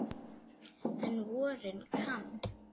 En á vorin kann